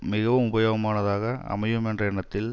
மிகவும் உபயோகமானதாக அமையும் என்ற எண்ணத்தில்